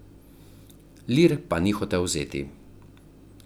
Lir pa ni hotel vzeti.